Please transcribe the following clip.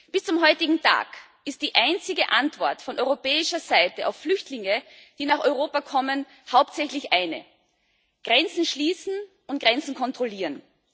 Bis zum heutigen Tag ist die einzige Antwort von europäischer Seite auf Flüchtlinge, die nach Europa kommen, hauptsächlich eine Grenzen schließen und Grenzen kontrollieren.